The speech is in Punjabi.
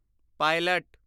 ਪਾਇਲਟ